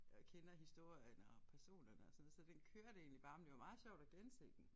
Og kender historien og personerne og sådan noget så den kørte egentlig bare men det var meget sjovt at gense den